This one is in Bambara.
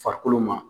Farikolo ma